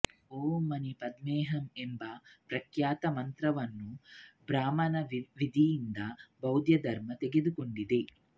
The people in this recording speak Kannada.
ಓಂ ಮಣಿ ಪದ್ಮೇಹಂ ಎಂಬ ಪ್ರಖ್ಯಾತ ಮಂತ್ರವನ್ನು ಬ್ರಾಹ್ಮಣ ವಿಧಿಯಿಂದ ಬೌದ್ದಧರ್ಮ ತೆಗೆದುಕೊಂಡಿದೆ